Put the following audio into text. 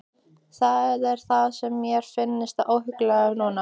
Það er það sem mér finnst svo óhugnanlegt núna.